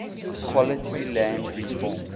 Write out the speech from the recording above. quality land reform